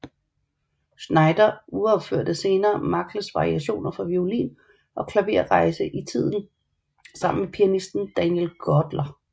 Znaider uropførte senere Magles variationer for violin og klaver Rejse i tid sammen med pianisten Daniel Gortler